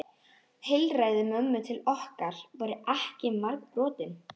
Heilræði mömmu til okkar voru ekki margbrotin.